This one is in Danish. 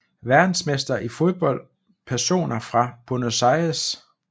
Verdensmestre i fodbold Personer fra Buenos Aires